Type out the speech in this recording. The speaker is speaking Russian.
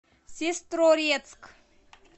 сестрорецк